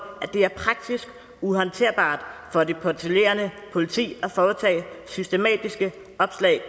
at det er praktisk uhåndterbart for det patruljerende politi at foretage systematiske opslag